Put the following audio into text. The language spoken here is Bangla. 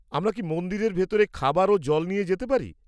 আমরা কি মন্দিরের ভিতরে খাবার ও জল নিয়ে যেতে পারি?